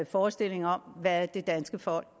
forestilling om hvad det danske folk